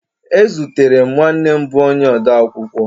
Ezutere m nwanne m bụ onye odeakwụkwọ